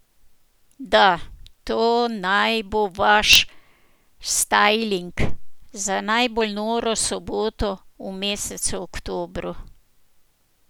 Da, to naj bo vaš stajling za najbolj noro soboto v mesecu oktobru.